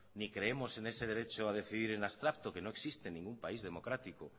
ni creemos en ese derecho a decidir en abstracto que no existe en ningún país democrático